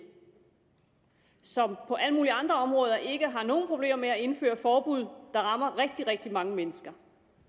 som på alle mulige andre områder ikke har nogen problemer med at indføre forbud der rammer rigtig rigtig mange mennesker